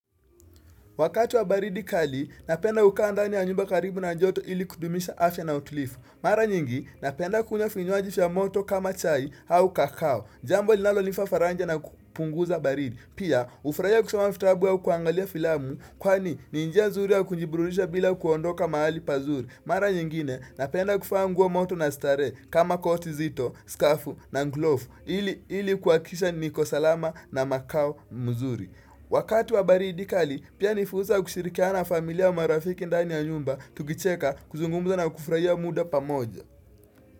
Wakati wa baridi kali, napenda kukaa ndani ya nyumba karibu na joto ili kudumisha afya na utulivu. Mara nyingi, napenda kunywa vinywaji vya moto kama chai au kakao. Jambo linalonipa faraja na kupunguza baridi. Pia, hufurahia kusoma vitabu au kuangalia filamu, kwani ni njia nzuri ya kujiburudisha bila kuondoka mahali pazuri. Mara nyingine, napenda kuvaa nguo moto na starehe kama koti nzito, skafu na glovu. Ili, ili kuhakikisha niko salama na makao mzuri. Wakati wa baridi kali, pia ni fursa ya kushirikiana na familia, marafiki ndani ya nyumba tukicheka kuzungumza na kufurahia muda pamoja.